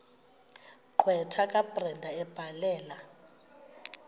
gqwetha kabrenda ebhalela